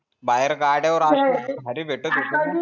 बाहेर गासड्या वर असा भारी भेटत होता ना